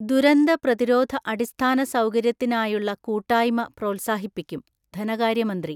ദുരന്ത പ്രതിരോധ അടിസ്ഥാന സൗകര്യത്തിനായുള്ള കൂട്ടായ്മ പ്രോത്സാഹിപ്പിക്കും, ധനകാര്യമന്ത്രി.